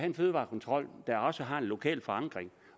en fødevarekontrol der også har en lokal forankring